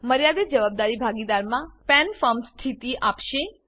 મર્યાદિત જવાબદારી ભાગીદારીમાંPAN પેન ફર્મ સ્થિતિ આપશે